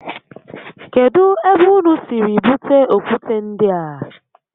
Kedu ebe ụnụ siri bute okwute ndịa?